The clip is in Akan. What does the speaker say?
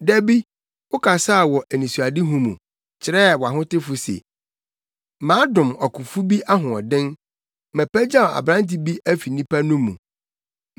Da bi wokasaa wɔ anisoadehu mu, kyerɛɛ wʼahotefo se, “Madom ɔkofo bi ahoɔden; mapagyaw aberante bi afi nnipa no mu.